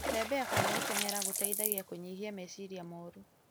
Gũtembea kana gũtenyera gũteithagia kũnyihia meciria moru